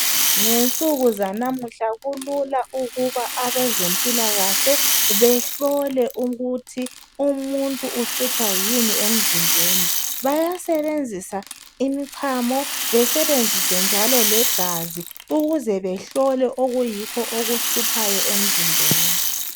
ngensuku zalamuhla kulula ukuba abezempilakahle behlole ukuthi umuntu uhlutshwa yini emzimbeni bayasebenzisa imchamo besebenzise njalo legazi ukuze behlole okuyikho okuhluphayo emzimbeni